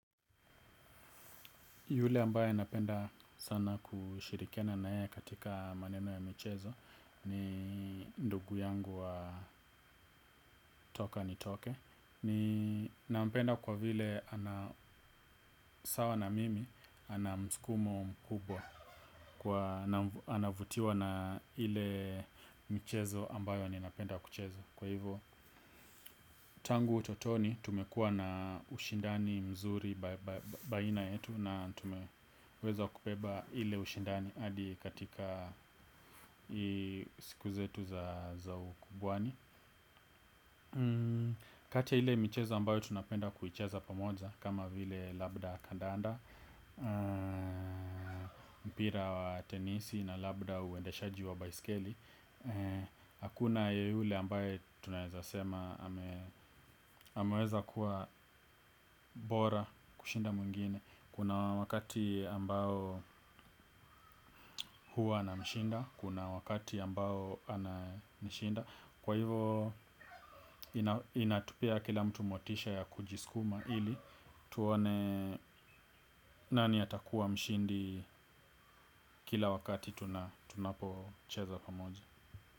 Yule ambaye napenda sana kushirikiana naye katika maneno ya michezo ni ndugu yangu wa toka nitoke. Ninampenda kwa vile ana usawa na mimi ana msukumo mkubwa anavutiwa na ile michezo ambayo ninapenda kuicheza. Kwa hivyo tangu utotoni tumekuwa na ushindani mzuri baina yetu na tumeweza kubeba ile ushindani hadi katika siku zetu za ukubwani. Kati ya ile michezo ambayo tunapenda kuicheza pamoja kama vile labda kandanda mpira wa tenisi na labda uendeshaji wa baiskeli. Hakuna yule ambaye tunaezasema ameweza kuwa bora kushinda mwingine. Kuna wakati ambao huwa namshinda, kuna wakati ambao ananishinda. Kwa hivo inatupea kila mtu motisha ya kujiskuma ili tuone nani atakuwa mshindi kila wakati tunapocheza pamoja.